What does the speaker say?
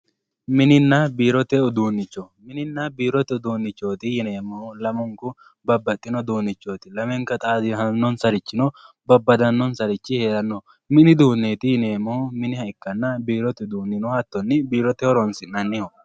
mininna biirote uduunnicho mininna biirote uduunnicho yineemmohu lamunku babbaxino uduunnichooti lamenkano xaadisannorichino babbadannonsarichino no mini uduunneeti yineemmohu miniha ikkanna hattono biironniho yineemmohu biirote horonsi'nanniho.